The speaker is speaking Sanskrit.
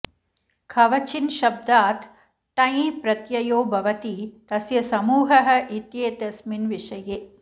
कवचिन् शब्दात् ठञ् प्रत्ययो भवति तस्य समूहः इत्येतस्मिन् विषये